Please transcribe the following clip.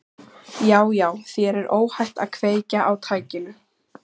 Já, já, þér er óhætt að kveikja á tækinu.